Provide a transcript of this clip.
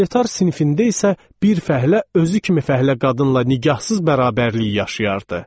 Proletar sinifində isə bir fəhlə özü kimi fəhlə qadınla nigahsız bərabərliyi yaşayardı.